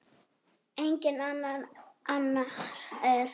Enginn annar en Guð.